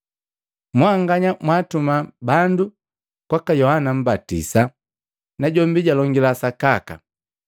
Mwanganya mwaatuma bandu kwaka Yohana Mmbatisa, najombi jalongila sakaka.